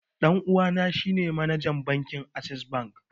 Ɗan uwana shi ne manajan bankin assess bank